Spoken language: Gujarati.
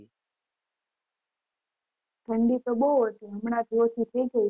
ઠંડી તો બહુ ઓછી હમણાં થી ઓછી છે